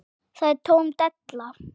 Það er tóm della.